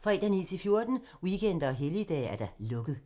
fredag 9.00-14.00, weekender og helligdage: lukket.